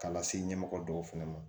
K'a lase ɲɛmɔgɔ dɔw fɛnɛ ma